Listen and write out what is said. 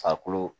Farikolo